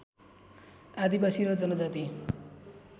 आदिवासी र जनजाति